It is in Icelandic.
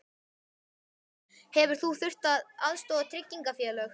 Sólveig: Hefur þú þurft að aðstoða tryggingafélög?